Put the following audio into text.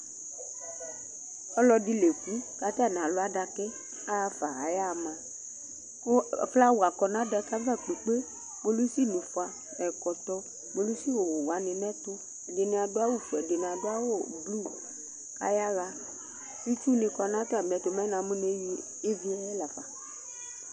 Ɔlɔdɩ la eku kʋ atanɩ alʋ adaka yɛ yaɣa, aya ama Kʋ flawa kɔ nʋ adaka yɛ ava kpekpe Kpolusinɩ fʋa nʋ ɛkɔtɔ, kpolusiwʋ wanɩ nʋ ɛtʋ Ɛdɩnɩ adʋ awʋfue, ɛdɩnɩ adʋ awʋblu kʋ ayaɣa Itsunɩ kɔ nʋ atamɩɛtʋ Mɛ namʋ eyui ɩvɩ yɛ li la fa